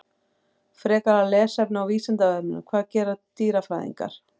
Frekara lesefni á Vísindavefnum: Hvað gera dýrafræðingar?